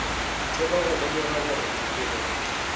thoma go lemoga gore bophelo